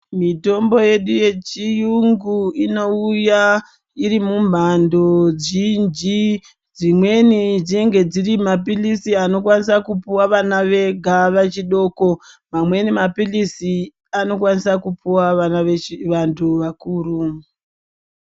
Mitombo yedu yechiyungu inouya iri mumhando zhinji. Dzimweni dzinenge dziri mapilisi anokwanisa kupuwa vana vega vechidoko. Mamweni mapilizi anokwanisa kupuwa vana vechi vantu vakuru.